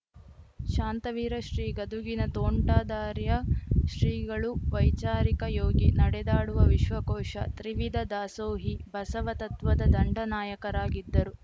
ಶಾಂತವೀರ ಶ್ರೀ ಗದುಗಿನ ತೋಂಟದಾರ್ಯ ಶ್ರೀಗಳು ವೈಚಾರಿಕ ಯೋಗಿ ನಡೆದಾಡುವ ವಿಶ್ವಕೋಶ ತ್ರಿವಿದ ದಾಸೋಹಿ ಬಸವತತ್ವದ ದಂಡನಾಯಕರಾಗಿದ್ದರು